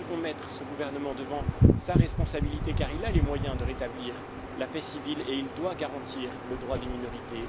Nous devons mettre ce gouvernement devant sa responsabilité, car il a les moyens de rétablir la paix civile et il doit garantir le droit des minorités.